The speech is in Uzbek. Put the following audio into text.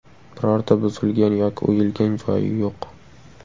Birorta buzilgan yoki o‘yilgan joyi yo‘q.